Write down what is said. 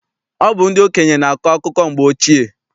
Ọ bụ ndị okenye na-akọ akụkọ mgbe ochie.